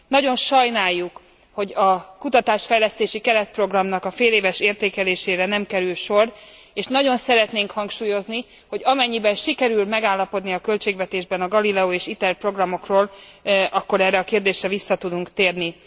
Nagyon sajnáljuk, hogy a kutatásfejlesztési keretprogramnak a féléves értékelésére nem kerül sor, és nagyon szeretnénk hangsúlyozni, hogy amennyiben sikerül megállapodni a költségvetésben a Galileo és ITER programokról, akkor erre a kérdésre vissza tudunk térni.